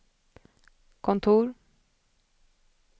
kontor